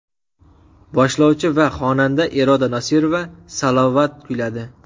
Boshlovchi va xonanda Iroda Nosirova salavot kuyladi.